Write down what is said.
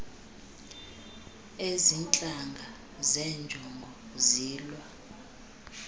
azintlanga njengezo zilwa